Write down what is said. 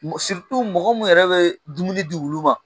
mɔgɔ min yɛrɛ bɛ dumuni di wulu ma